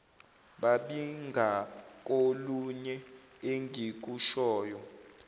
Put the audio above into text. babi ngakolunye engikushoyo